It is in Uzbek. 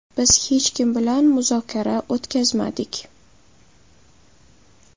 Biz hech kim bilan muzokara o‘tkazmadik.